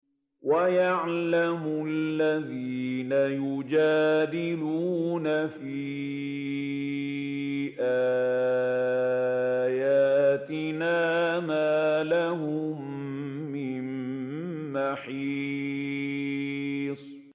وَيَعْلَمَ الَّذِينَ يُجَادِلُونَ فِي آيَاتِنَا مَا لَهُم مِّن مَّحِيصٍ